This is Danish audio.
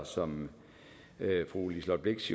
som fru liselott blixt